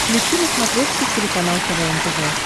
включи на смотрешке телеканал квн тв